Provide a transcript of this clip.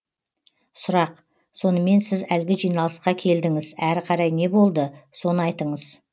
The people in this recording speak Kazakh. сұрақ сонымен сіз әлгі жиналысқа келдіңіз әрі қарай не болды соны айтыңыз